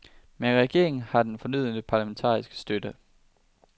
Men regeringen har den fornødne parlamentariske støtte.